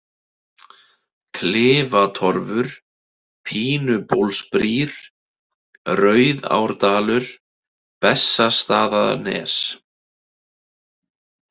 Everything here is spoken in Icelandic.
Klifatorfur, Pínubólsbrýr, Rauðárdalur, Bessastaðanes